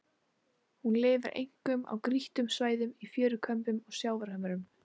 Hún lifir einkum á grýttum svæðum í fjörukömbum og sjávarhömrum.